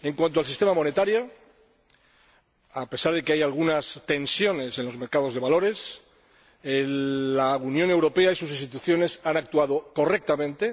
En cuanto al sistema monetario, a pesar de que hay algunas tensiones en los mercados de valores, la Unión Europea y sus instituciones han actuado correctamente.